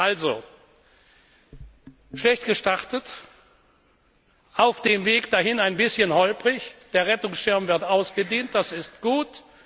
Also schlecht gestartet, auf dem Weg dahin ein bisschen holprig, der Rettungsschirm wird ausgedehnt, das ist gut.